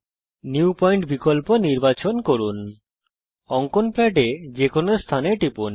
new point বিকল্প নির্বাচন করুন অঙ্কন প্যাডে যেকোনো স্থানে টিপুন